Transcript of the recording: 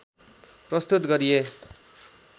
प्रस्तुत गरिए